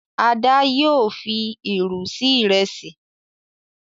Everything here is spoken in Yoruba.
Ada yóò fí ìrù sí Ìrẹsí.